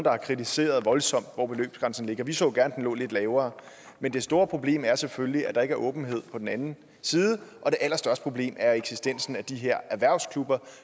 har kritiseret voldsomt hvor beløbsgrænsen ligger vi så gerne den lå lidt lavere men det store problem er selvfølgelig at der ikke er åbenhed på den anden side og det allerstørste problem er eksistensen af de her erhvervsklubber